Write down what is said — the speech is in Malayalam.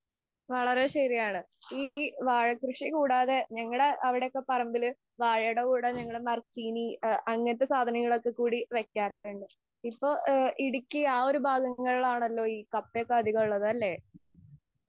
വളരെ ശരിയാണ് ഈ വാഴ കൃഷി കൂടാതെ ഞങ്ങടെ അവിടെയൊക്കെ പറമ്പിൽ വാഴടെ കൂടാതെ ഈ മരച്ചീനി അങ്ങനെത്തെ സാധനങ്ങളൊക്കെ കൂടി വെക്കാറുണ്ട്. ഇപ്പൊ ഇടുക്കി ആ ഒരു ഭാഗങ്ങളിലാണല്ലോ ഈ കപ്പ ഒക്കെ അധികമുള്ളതു അല്ലെ?